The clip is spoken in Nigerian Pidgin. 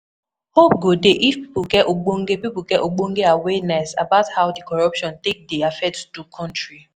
Hope dey if pipo get ogbonge pipo get ogbonge awareness about how di corruption take dey affect do country